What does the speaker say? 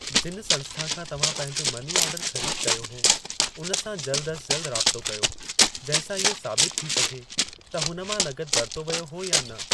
जिन संस्था खां तव्हां पंहिंजो मनी ऑर्डर ख़रीदु कयो हो, हुन सां जल्द अज़ जल्द राबितो कयो जिंहिं सां इहो साबितु थी सघे त हुन मां नक़द वरितो वियो हो या न।